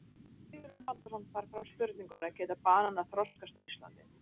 Sigurjón Halldórsson bar fram spurninguna: Geta bananar þroskast á Íslandi?